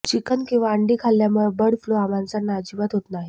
chicken किंवा अंडी खाल्ल्यामुळे बर्ड फ्लू हा माणसांना अजिबातच होत नाही